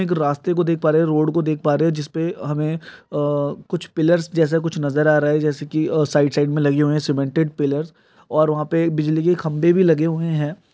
एक रास्ते को देख प रहे है। रोड को देख प रहे है। जिसपे हमे कुछ पिल्लर्स जेसे कुछ नजर आ रहा है। जेसे की ए साइड साइड मे लगे हुए है। सीमेंटेड पील्लर्स वह पे एक बिजली के खंभे भी लगे हुए है।